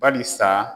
Bari sa